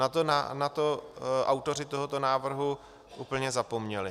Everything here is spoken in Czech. Na to autoři tohoto návrhu úplně zapomněli.